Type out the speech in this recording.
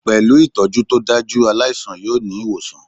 Pẹ̀lú ìtọ́jú tó dájú, aláìsàn yọ ní ìwòsàn